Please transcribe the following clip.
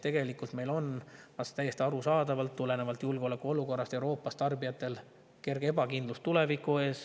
Tegelikult on tarbijatel tulenevalt julgeolekuolukorrast Euroopas täiesti arusaadavalt kerge ebakindlus tuleviku ees.